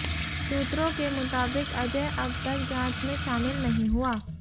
सूत्रों के मुताबिक अजय अब तक जांच में शामिल नहीं हुआ